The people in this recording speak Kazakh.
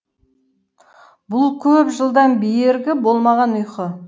бұл көп жылдан бергі болмаған ұйқы